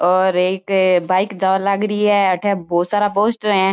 और एक बाइक जा लागरी है अठे बहोत सारा पोस्टर है।